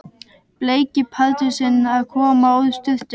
Bleiki Pardusinn að koma úr sturtu!